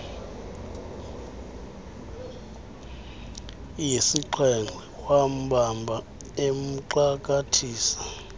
yesixhenxe wambamba emxakathisa